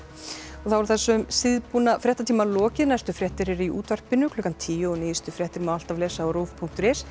þá er þessum síðbúna fréttatíma lokið næstu fréttir eru í útvarpinu klukkan tíu og nýjustu fréttir má alltaf lesa á rúv punktur is